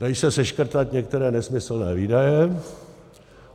Dají se seškrtat některé nesmyslné výdaje.